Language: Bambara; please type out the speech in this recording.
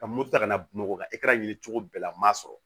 Ka muru ta ka na bamakɔ ka e taara ɲini cogo bɛɛ la n'a sɔrɔ